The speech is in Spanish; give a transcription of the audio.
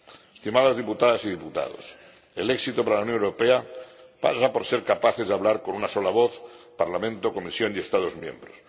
Estimadas diputadas y diputados, el éxito para la Unión Europea pasa por ser capaces de hablar con una sola voz Parlamento, Comisión y Estados miembros.